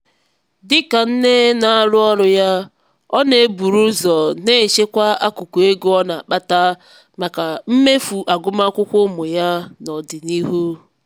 dịka nne na-arụ ọrụ ya ọ na-eburu ụzọ n'echekwa akụkụ ego ọ na-akpata maka mmefu agụmakwụkwọ ụmụ ya n'ọdịnihu.